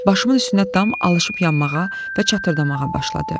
Başımın üstündə dam alışıp yanmağa və çatırdamağa başladı.